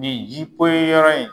Nin ji poyi yɔrɔ in